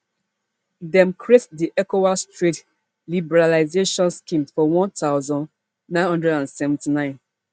dem create di ecowas trade liberalisation scheme for one thousand, nine hundred and seventy-nine